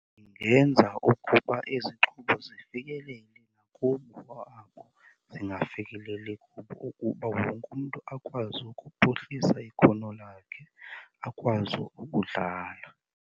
Ndingenza ukuba ezi zixhobo zifikelele nakubo abo zingafikeleli kubo ukuba wonke umntu akwazi ukuphuhlisa ikhono lakhe, akwazi ukudlala.